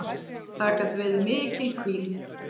Það gat verið mikil hvíld.